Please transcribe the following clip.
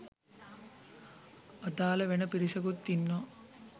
අදාල වෙන පිරිසකුත් ඉන්නවා.